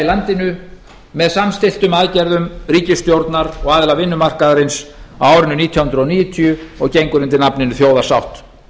landinu með samþykktum aðgerðum ríkisstjórnar og aðila vinnumarkaðarins á árinu nítján hundruð níutíu og gengur undir nafninu þjóðarsátt